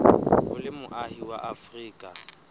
o le moahi wa afrika